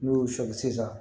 N'u y'o sɔli sisan